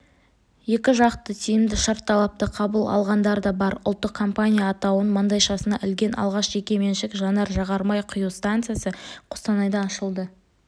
екіжақты тиімді шартталапты қабыл алғандар да бар ұлттық компания атауын маңдайшасына ілген алғаш жекеменшік жанар-жағармай құю станциясы қостанайда ашылды